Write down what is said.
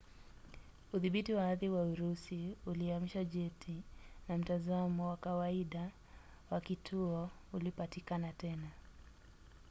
udhibiti wa ardhi wa urusi uliamsha jeti na mtazamo wa kawaida wa kituo ulipatikana tena